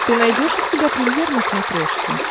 ты найдешь у себя премьер на смотрешке